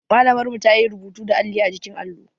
Malamar mu ta yi rubutu da alli a jikin allo